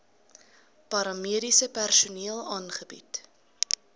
paramediese personeel aangebied